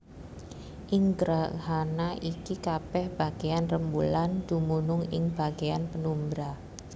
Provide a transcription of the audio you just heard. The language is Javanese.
Ing grahana iki kabèh bagéyan rembulan dumunung ing bagéyan penumbra